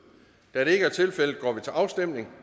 da det ikke er tilfældet går vi til afstemning